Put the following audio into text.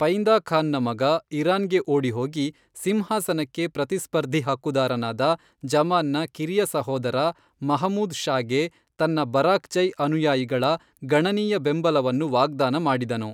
ಪೈಂದಾ ಖಾನ್ನ ಮಗ ಇರಾನ್ಗೆ ಓಡಿಹೋಗಿ ಸಿಂಹಾಸನಕ್ಕೆ ಪ್ರತಿಸ್ಪರ್ಧಿ ಹಕ್ಕುದಾರನಾದ ಜಮಾನ್ನ ಕಿರಿಯ ಸಹೋದರ ಮಹಮೂದ್ ಷಾಗೆ ತನ್ನ ಬರಾಕ್ಜೈ ಅನುಯಾಯಿಗಳ ಗಣನೀಯ ಬೆಂಬಲವನ್ನು ವಾಗ್ದಾನ ಮಾಡಿದನು.